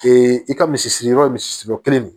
i ka misi siri yɔrɔ ye misiri kelen de ye